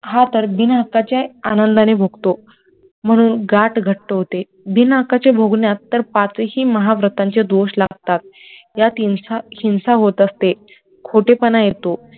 हा तर बिनहक्काच्या आनंदाने भोगतो म्हणून गाठ घट्ट होते बिना हक्काच्या भोगण्यात तर पाचही महाव्रतांचे दोष लागतात त्यात, हिंसा होत असते, खोटेपणा येतो